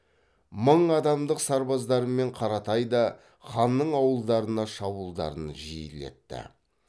мың адамдық сарбаздарымен қаратай да ханның ауылдарына шабуылдарын жиілетті